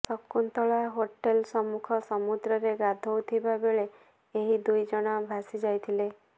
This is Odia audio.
ଶକୁନ୍ତଳା ହୋଟେଲ ସମ୍ମୁଖ ସମୁଦ୍ରରେ ଗାଧୋଉଥିବା ବେଳେ ଏହି ଦୁଇଜଣ ଭାସିଯାଇଥିଲେ